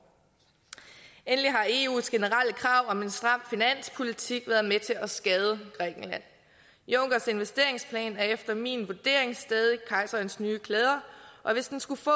endelig har eus generelle krav om en stram finanspolitik været med til at skade grækenland junckers investeringsplan er efter min vurdering stadig kejserens nye klæder og hvis den skulle få